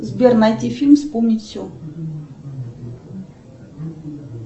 сбер найти фильм вспомнить все